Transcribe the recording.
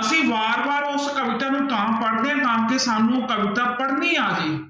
ਅਸੀਂ ਬਾਰ ਬਾਰ ਉਸ ਕਵਿਤਾ ਨੂੰ ਤਾਂ ਪੜ੍ਹਦੇ ਹਾਂ ਤਾਂ ਕਿ ਸਾਨੂੰ ਕਵਿਤਾ ਪੜ੍ਹਨੀ ਆ ਜਾਏ।